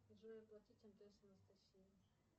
джой оплатить мтс анастасия